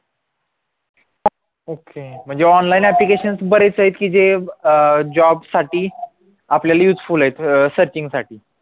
okay म्हणजे online applications बरेच येत की जे अं job साठी आपल्याला useful आहेत searching साठी